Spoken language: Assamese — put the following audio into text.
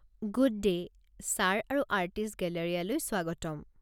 গুড ডে', ছাৰ আৰু আৰ্টিষ্ট গেলেৰিয়ালৈ স্বাগতম!